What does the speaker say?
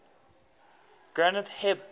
granth hib